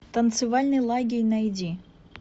танцевальный лагерь найди